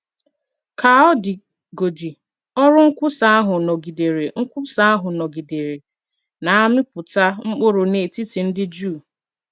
Ka ọ dịgodị, ọrụ nkwusa ahụ nọgidere nkwusa ahụ nọgidere na - amịpụta mkpụrụ n’etiti ndị Juu.